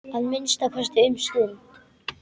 Að minnsta kosti um stund.